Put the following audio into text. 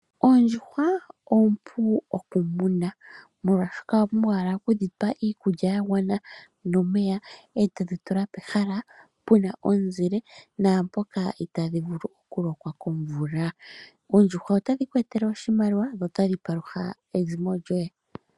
Oondjuhwa oompu okumuna, molwashoka owa pumbwa owala okudhi pa iikulya ya gwana nomeya, e todhi tula pehala pu na omuzile naampoka itaadhi vulu okulokwa komvula. Oondjuhwa otadhi ku etele oshimaliwa dho otadhi palutha ezimo lyoye.